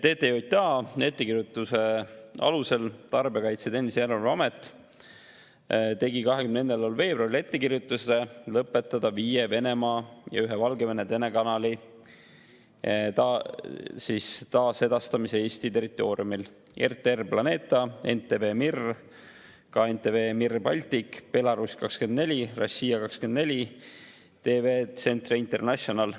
Tarbijakaitse ja Tehnilise Järelevalve Amet tegi 20. veebruaril ettekirjutuse lõpetada viie Venemaa ja ühe Valgevene telekanali taasedastamine Eesti territooriumil: RTR Planeta, NTV Mir, ka NTV Mir Baltic, Belarus 24, Rossija 24, TV Centre International.